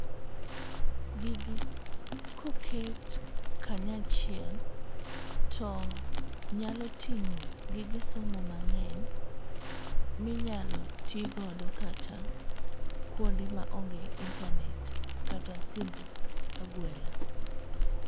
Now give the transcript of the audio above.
Gigi koket kanyachiel to nyalo ting'o gige somo mang'eny minyalo tii godo kata kuonde maonge internate kata simb agwela.